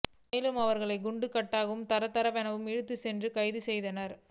மேலும் அவர்களை குண்டு கட்டாகவும் தரதரவெனவும் இழுத்துச் சென்றும் கைது செய்தனர்